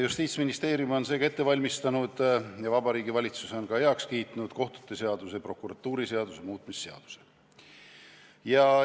Justiitsministeerium on ette valmistanud ja Vabariigi Valitsus on ka heaks kiitnud kohtute seaduse ja prokuratuuriseaduse muutmise seaduse eelnõu.